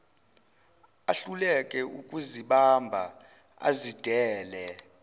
ahluleke ukuzibamba azidedele